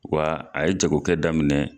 Wa a ye jagokɛ daminɛ